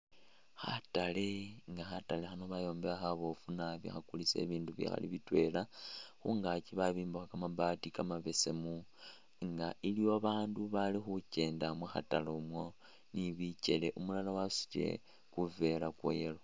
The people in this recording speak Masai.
Khatale nga khatale khano bayombekha khabofu nabi khakulisa binindu bikhali bitwela khungakyi babimbakho kamaabati kamabesemu , nga iliwo babaandu bali khukenda mukhatale imwo ni bikele umulala wasutile kivela kwa yellow .